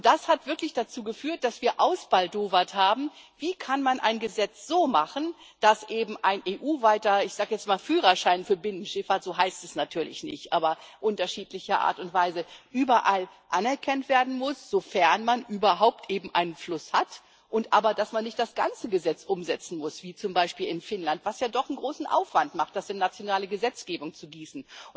Das hat wirklich dazu geführt, dass wir ausbaldowert haben, wie man ein Gesetz so machen kann, dass eben ein EU weiter ich sage jetzt mal Führerschein für Binnenschifffahrt, so heißt es natürlich nicht unterschiedlicher Art und Weise überall anerkannt werden muss, sofern man überhaupt einen Fluss hat, aber dass man nicht das ganze Gesetz umsetzen muss, wie zum Beispiel in Finnland, wo es ja doch einen großen Aufwand macht, das in nationale Gesetzgebung zu gießen.